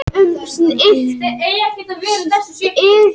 Ekki kemur fram hjá spyrjanda hvað átt sé við með hugtakinu allir.